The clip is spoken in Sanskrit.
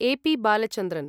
ए. पि. बालचन्द्रन्